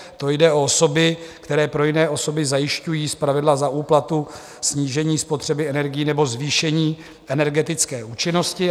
To jde o osoby, které pro jiné osoby zajišťují zpravidla za úplatu snížení spotřeby energií nebo zvýšení energetické účinnosti.